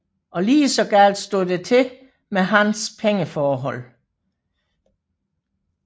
Og lige så galt stod det til med hans pengeforhold